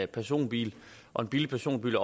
personbil og en billig personbil